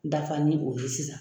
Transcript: Dafa ni o ye sisan.